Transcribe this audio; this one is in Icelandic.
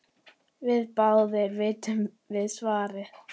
Báðir vitum við svarið